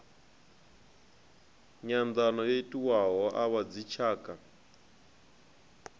nyanḓano yo itiwaho a vhadzitshaka